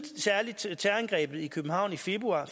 terrorangrebet i københavn i februar